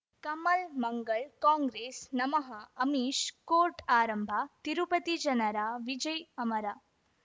ಕಮಲ್ ಮಂಗಳ್ ಕಾಂಗ್ರೆಸ್ ನಮಃ ಅಮಿಷ್ ಕೋರ್ಟ್ ಆರಂಭ ತಿರುಪತಿ ಜನರ ವಿಜಯ್ ಅಮರ